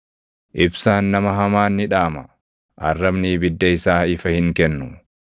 “Ibsaan nama hamaa ni dhaama; arrabni ibidda isaa ifa hin kennu.